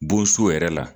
Bon so yɛrɛ la